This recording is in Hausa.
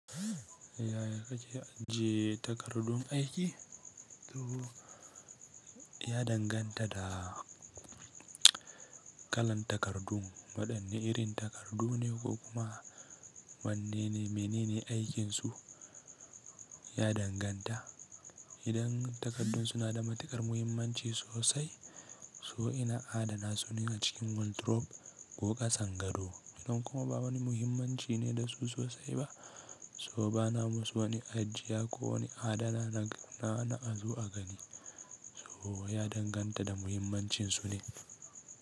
Yaya kake ajiye takardun aiki? To ya danganta da kalan takardun, waɗanne irin takardu ne ko kuma wanne ne, mene ne aikinsu ya danganta. Idan takardun suna da matuƙar muhimmanci sosai, so ina adana su ne na cikin wardrobe ko ƙasan gado. Idan kuma ba wani muhimmanci ne da su sosai ba, so ba na ma su wani ajiya ko wani adana na na azo a gani. So ya danganta da muhimmancinsu ne.